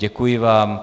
Děkuji vám.